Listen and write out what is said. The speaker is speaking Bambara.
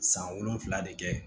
San wolonfila de kɛ